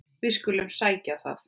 Við skulum sækja um það.